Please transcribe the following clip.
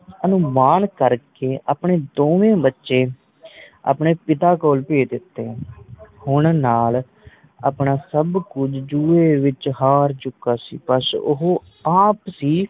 ਅਨੁਮਾਨ ਕਰਕੇ ਆਪਣੇ ਦੋਵੇ ਬੱਚੇ ਆਪਣੇ ਪਿਤਾ ਕੋਲ ਭੇਜ ਦਿੱਤੇ ਹੁਣ ਨੱਲ ਆਪਣਾ ਸਭ ਕੁਝ ਜੂਏ ਵਿਚ ਹਾਰ ਚੁਕਾ ਸੀ ਬੱਸ ਉਹ ਆਪ ਸੀ